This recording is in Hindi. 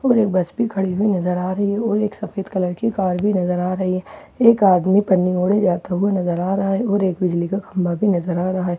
और एक बस भी खड़ी हुई नज़र आ रही है और एक सफ़ेद कलर की कार भी नज़र आ रही है एक आदमी पन्नी ओढ़े जाता हुआ नज़र आ रहा है और एक बिजली का खंभा भी नज़र आ रहा है ।